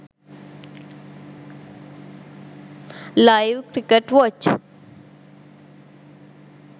live cricket watch